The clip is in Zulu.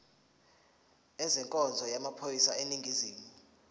ezenkonzo yamaphoyisa aseningizimu